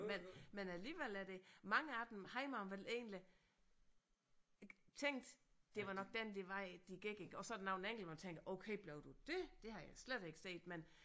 Men men alligevel er der mange af dem har man vel egentlig tænkt det var nok den de vej de gik iggå og så er der nogle man tænker okay blev du det det havde jeg slet ikke set men